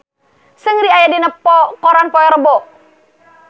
Seungri aya dina koran poe Rebo